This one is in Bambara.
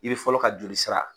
I bi fɔlɔ ka joli sira